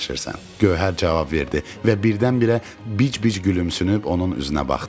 Gövhər cavab verdi və birdən-birə bic-bic gülümsünüb onun üzünə baxdı.